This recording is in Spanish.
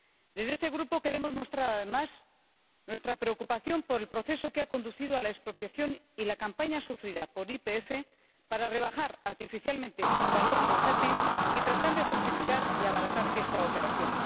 Desde este Grupo queremos mostrar, además, nuestra preocupación por el proceso que ha conducido a la expropiación y la campaña sufrida por YPF para rebajar artificialmente su valor bursátil y tratar de justificar y abaratar esta operación.